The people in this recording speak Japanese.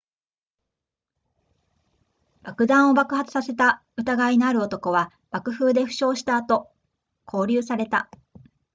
爆弾を爆発させた疑いのある男は爆風で負傷した後拘留された